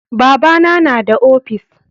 Babana na da ofis.